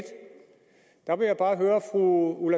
år